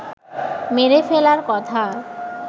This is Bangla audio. মেরে ফেলার কথা